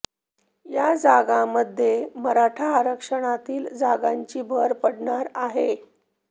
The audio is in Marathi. या जागांमध्ये मराठा आरक्षणातील जागांची भर पडणार आहे